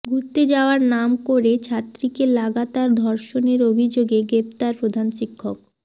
ঘুরতে যাওয়ার নাম করে ছাত্রীকে লাগাতার ধর্ষণের অভিযোগে গ্রেপ্তার প্রধান শিক্ষক